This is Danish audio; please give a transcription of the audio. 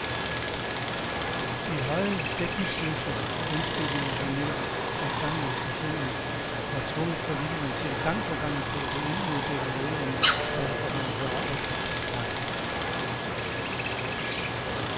De høje dækningsløse lønstigninger har nemlig sat gang i inflationen og tvunget politikerne til gang på gang at gribe ind med devalueringer, skatteforhøjelser og afgiftspakker.